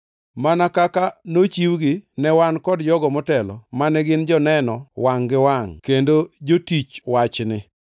mana kaka nochiwgi ne wan kod jogo motelo mane gin joneno wangʼ gi wangʼ kendo jotich wachni.